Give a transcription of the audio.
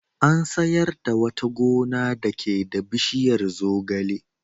An sayar da wata gona dake da bishiyar zogale.